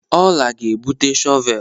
Ọla ga-ebute shọvel.